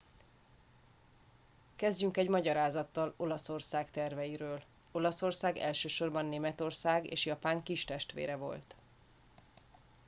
"kezdjük egy magyarázattal olaszország terveiről. olaszország elsősorban németország és japán "kistestvére" volt.